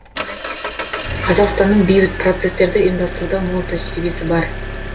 қазақстанның бейбіт процесстерді ұйымдастыруда мол тәжірибесі бар